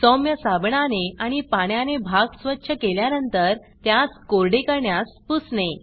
सौम्य साबणाने आणि पाण्याने भाग स्वच्छ केल्यानंतर त्यास कोरडे करण्यास पुसने